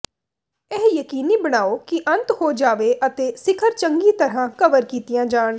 ਇਹ ਯਕੀਨੀ ਬਣਾਉ ਕਿ ਅੰਤ ਹੋ ਜਾਵੇ ਅਤੇ ਸਿਖਰ ਚੰਗੀ ਤਰ੍ਹਾਂ ਕਵਰ ਕੀਤੀਆਂ ਜਾਣ